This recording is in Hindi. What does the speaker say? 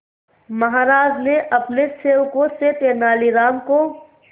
महाराज ने अपने सेवकों से तेनालीराम को